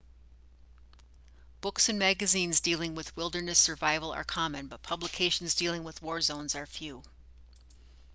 books and magazines dealing with wilderness survival are common but publications dealing with war zones are few